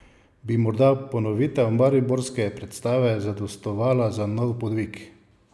Bi morda ponovitev mariborske predstave zadostovala za nov podvig?